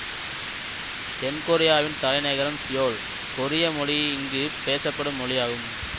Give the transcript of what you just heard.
தென்கொரியாவின் தலைநகரம் சியோல் கொரிய மொழி இங்கு பேசப்படும் மொழியாகும்